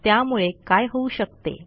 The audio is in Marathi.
त्यामुळे काय होऊ शकते